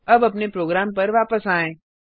अब अपने प्रोग्राम पर वापस आएँ